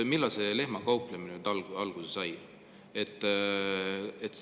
Millal see lehmakauplemine nüüd alguse sai?